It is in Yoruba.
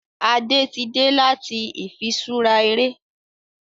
Ada tí dé láti ifiṣura eré